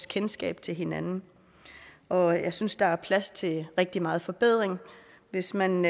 kendskab til hinanden og jeg synes der er plads til rigtig meget forbedring hvis man